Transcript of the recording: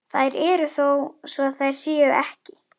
Þær eru þó svo þær séu ekki.